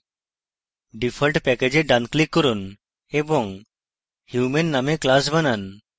default package a ডান click করুন এবং human নামে class বানান